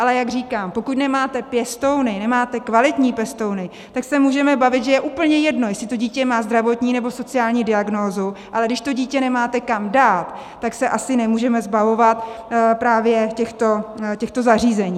Ale jak říkám, pokud nemáte pěstouny, nemáte kvalitní pěstouny, tak se můžeme bavit, že je úplně jedno, jestli to dítě má zdravotní, nebo sociální diagnózu, ale když to dítě nemáte kam dát, tak se asi nemůžeme zbavovat právě těchto zařízení.